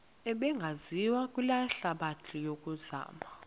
ebingaziwa lihlabathi yokuzama